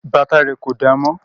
Bàtà rẹ̀ kò damọ́